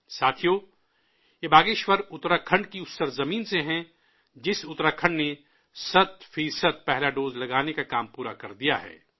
ساتھیو، یہ باگیشور اتراکھنڈ کی اُس سرزمین سے ہے جس اتراکھنڈ نے سو فیصد پہلا ڈوز لگانے کا کام پورا کر دیا ہے